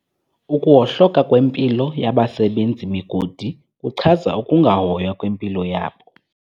Ukuwohloka kwempilo yabasebenzi-migodi kuchaza ukungahoywa kwempilo yabo.